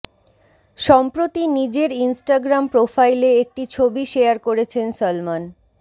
সম্প্রতি নিজের ইনস্টাগ্রাম প্রোফাইলে একটি ছবি শেয়ার করেছেন সলমন